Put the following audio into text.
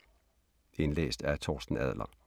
Indlæst af: